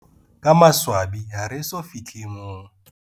Ka maswabi, ha re so fi hle moo.